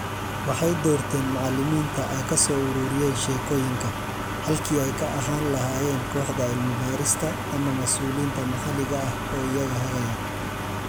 Waxay doorteen macallimiinta ay ka soo ururiyeen sheekooyinka, halkii ay ka ahaan lahaayeen kooxda cilmi-baarista ama mas'uuliyiinta maxalliga ah oo iyaga hagaya.